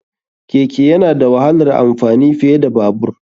Keke yana da wahalar amfani fiye da Babur.